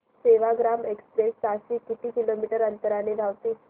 Sevagram express ताशी किती kilometre अंतराने धावते